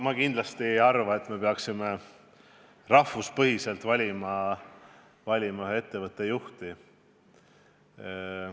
Ma kindlasti ei arva, et peaksime rahvuse põhjal valima ettevõtte juhti.